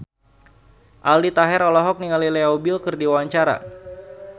Aldi Taher olohok ningali Leo Bill keur diwawancara